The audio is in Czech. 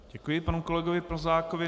Děkuji panu kolegovi Plzákovi.